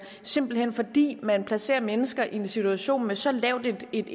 simpelt hen fordi man placerer mennesker i en situation med så lavt et